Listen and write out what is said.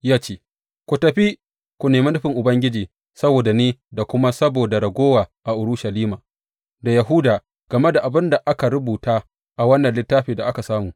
Ya ce, Ku tafi ku nemi nufin Ubangiji saboda ni da kuma saboda raguwa a Isra’ila da Yahuda game da abin da aka rubuta a wannan littafin da aka samu.